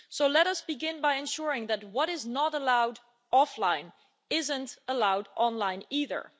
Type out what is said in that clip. So let us begin by ensuring that what is not allowed offline isn't allowed online either.